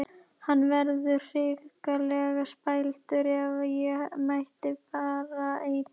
Hann verður hrikalega spældur ef ég mæti bara ein!